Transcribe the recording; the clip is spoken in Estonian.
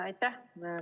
Aitäh!